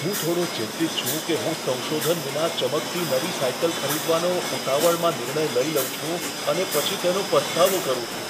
હું થોડો ચિંતિત છું કે હું સંશોધન વિના ચમકતી નવી સાયકલ ખરીદવાનો ઉતાવળમાં નિર્ણય લઈ લઉં છું અને પછી તેનો પસ્તાવો કરું છું.